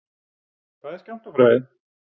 Hvað er skammtafræði?